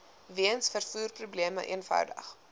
weens vervoerprobleme eenvoudig